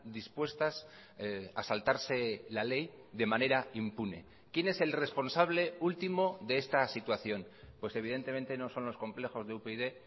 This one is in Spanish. dispuestas a saltarse la ley de manera impune quién es el responsable último de esta situación pues evidentemente no son los complejos de upyd